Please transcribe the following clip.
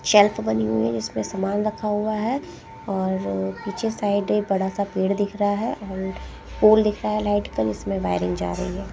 Shelf बनी हुई हैं जिसमें लगा हुआ हैं और पीछे साइड एक बड़ा सा पेड़ दिख रहा हैं और फोल दिख रहा हैं लाइट का जिसमें वायरिंग जा रही हैं ।